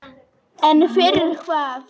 En fyrir hvað?